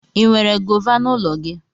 Ị nwere gọva n'ụlọ gị?